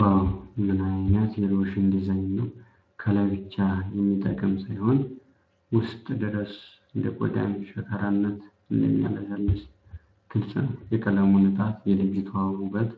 ዋው ምን አይነት የሎሽን ዲዛይን ነው ከላይ ብቻ የሚጠቅም ሳይሆን ውስጥ ድረስ እንደ የቆዳን ሽካራነት እንደሚያለሰልስ ግልፅ ነው ። የቀለሙ ንጣት የልጅቷ ውበት